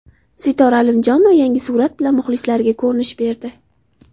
Sitora Alimjonova yangi surat bilan muxlislariga ko‘rinish berdi.